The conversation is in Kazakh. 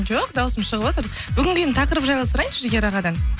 жоқ дауысым шығып отыр бүгінгі енді тақырып жайлы сұрайыншы жігер ағадан